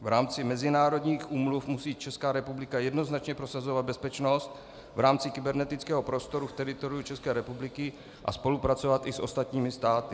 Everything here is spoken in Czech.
V rámci mezinárodních úmluv musí Česká republika jednoznačně prosazovat bezpečnost v rámci kybernetického prostoru v teritoriu České republiky a spolupracovat i s ostatními státy.